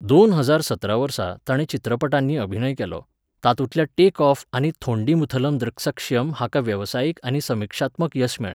दोन हजार सतरा वर्सा ताणें चार चित्रपटांनी अभिनय केलो, तातूंतल्या टेक ऑफ आनी थोंडीमुथलम दृक्सक्षीयम हाका वेवसायीक आनी समीक्षात्मक येस मेळ्ळें.